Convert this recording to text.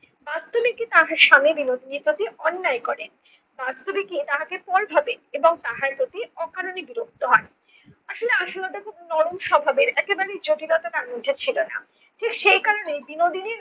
বাস্তবে কি তাহার স্বামী বিনোদিনীর প্রতি অন্যায় করে? বাস্তবে কি তাহাকে পর ভাবেন এবং তাহার প্রতি অকারণে বিরক্ত হন? আসলে আশুলতা খুব নরম স্বভাবের একেবারেই জটিলতা তার মধ্যে ছিল না। ঠিক সেই কারণেই বিনোদিনীর